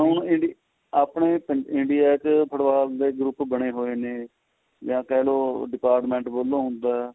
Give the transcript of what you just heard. ਹਾਂ ਹੁਣ india ਆਪਣੇ india ਚ football ਦੇ group ਬਣੇ ਹੋਏ ਨੇ ਜਾ ਕਹਿ ਲੋ department ਵਲੋ ਦਾ